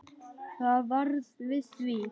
Það varð við því.